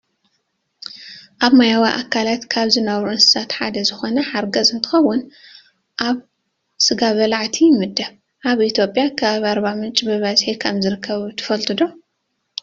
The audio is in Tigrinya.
ኣብ ማያዊ ኣካላት ካብ ዝነብሩ እንስሳት ሓደ ዝኾነ ሓርገፅ እንትኾውን ኣብ ስጋ በላዕቲ ይምደብ። ኣብ ኢትዮጵያ ከባቢ ኣርባምንጭ ብበዝሒ ከም ዝርከብ ትፈልጡ ዶ?